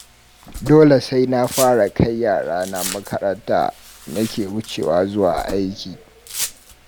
Dole sai na fara kai yarana makaranta, nake wucewa zuwa aiki